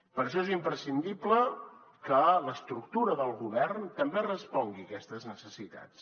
per això és imprescindible que l’estructura del govern també respongui a aquestes necessitats